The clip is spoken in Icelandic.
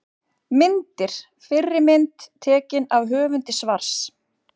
Myndir: Fyrri mynd: Tekin af höfundi svars.